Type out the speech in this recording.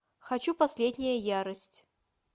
хочу последняя ярость